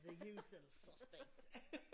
The usual suspect